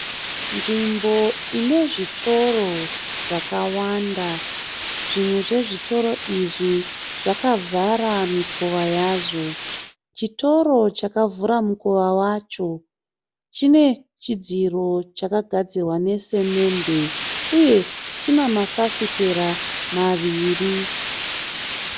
Nzvimbo ine zvitoro zvakawanda. Zvimwe zvezvitoro izvi zvakavhara mikova yazvo. Chitoro chakavhura mukova wacho chine chidziro chakagadzirwa nesemende uye china mafafitera maviri.